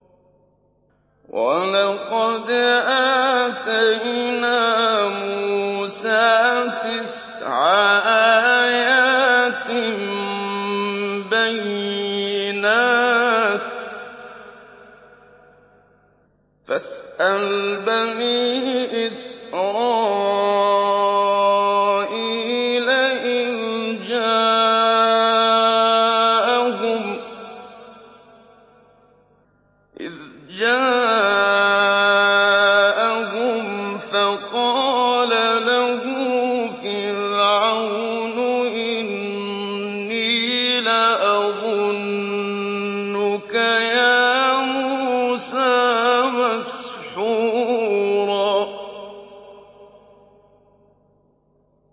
وَلَقَدْ آتَيْنَا مُوسَىٰ تِسْعَ آيَاتٍ بَيِّنَاتٍ ۖ فَاسْأَلْ بَنِي إِسْرَائِيلَ إِذْ جَاءَهُمْ فَقَالَ لَهُ فِرْعَوْنُ إِنِّي لَأَظُنُّكَ يَا مُوسَىٰ مَسْحُورًا